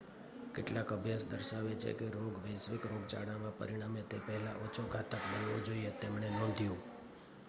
કેટલાક અભ્યાસ દર્શાવે છે કે રોગ વૈશ્વિક રોગચાળામાં પરિણમે તે પહેલાં ઓછો ઘાતક બનવો જોઈએ તેમણે નોંધ્યું